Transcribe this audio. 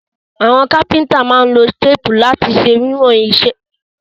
Àwon Kápẹ́ńtà má n lo téèpù ìwọ̀n lati se wíwòn to pé nínú isẹ́ igi